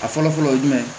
A fɔlɔ fɔlɔ ye jumɛn ye